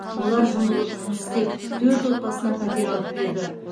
олар жұмылып жұмыс істеп төрт отбасына пәтер алып берді